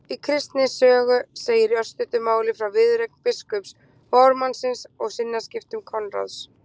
Í Kristni sögu segir í örstuttu máli frá viðureign biskups og ármannsins og sinnaskiptum Konráðs